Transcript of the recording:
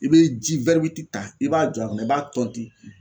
I be ji ta i b'a jɔ a kun na i b'a tɔnti